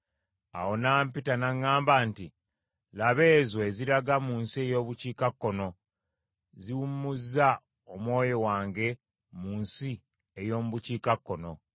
Awo n’ampita n’aŋŋamba nti, “Laba, ezo eziraga mu nsi ey’obukiikakkono ziwummuzza Omwoyo wange mu nsi ey’omu bukiikakkono.”